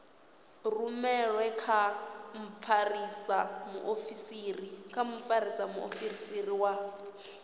rumelwe kha mfarisa muofisiri wa